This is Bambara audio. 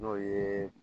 N'o ye